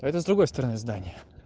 это с другой стороны здания